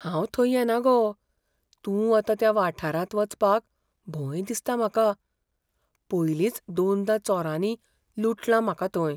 हांव थंय येना गो, तूं वता त्या वाठारांत वचपाक भंय दिसता म्हाका. पयलींच दोनदां चोरांनी लुटलां म्हाका थंय.